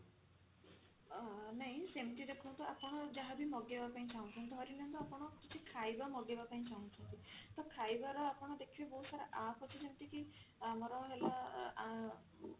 ଅ ନାଇଁ ସେମତି ଦେଖନ୍ତୁ ଆପଣ ଯାହା ବି ମଗେଇବା ପାଇଁ ଚାହୁଁଛନ୍ତି ଧରିନିଅନ୍ତୁ ଆପଣ କିଛି ଖାଇବା ମଗେଇବା ପାଇଁ ଚାହୁଁଛନ୍ତି ତ ଖାଇବା ର ଆପଣ ଦେଖିବେ ବହୁତ ସାରା app ଅଛି ଯେମତି କି ଆମର ହେଲା ଆ